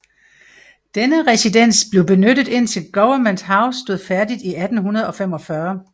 Denne residens blev benyttet indtil Government House stod færdig i 1845